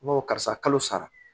N ko karisa kalo sara